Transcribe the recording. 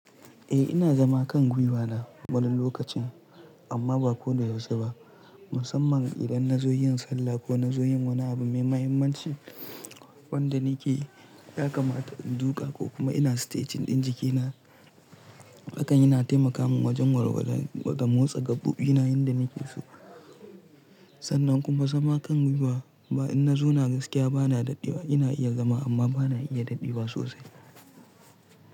Eh ina zama kan gwiwa na wani lokacin amma ba ko da yaushe ba, musamman idan na zo yin sallah ko na zo yin wani abu mai mahimmanci wanda nake ya kamata in duka ko kuma ina stretching ɗin jikina. Hakan yana taimaka min wajen warware wa ga motsa ga buƙatuna inda nake so. Sannan kuma zama kan gwiwa ba in na zo na gaskiya ba na dadewa ina iya zama amma ba na iya dadewa sosai.